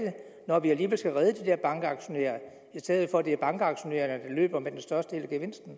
når vi alligevel skal redde de der bankaktionærer i stedet for at det er bankaktionærerne der løber med den største